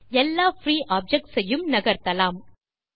எல்லா free objects ஐயும் நகர்த்தலாம்